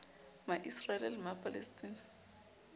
ma israel le ma palestina